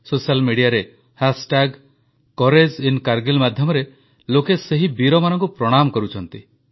social media ରେ ହାଷ୍ଟାଗକୋଉରାଗେଇଙ୍କରିଂ ମାଧ୍ୟମରେ ଲୋକେ ସେହି ବୀରମାନଙ୍କୁ ପ୍ରଣାମ କରୁଛନ୍ତି